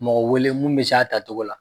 Mɔgɔ wele mun bɛ se a tacogo la.